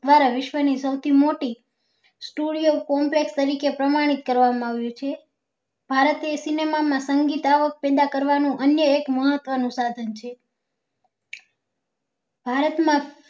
મારા વિશ્વ ની સૌથી મોટી studio complex તરીકે પ્રમાણિક કરવા માં આવી છે ભારતીય cinema માં સંગીત આવક પેદા કરવા નું અન્ય એક મહત્વ નું સાધન છે ભારત માં